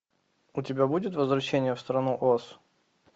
у тебя будет возвращение в страну оз